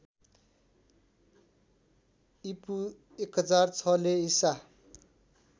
ईपू १००६ ले ईसा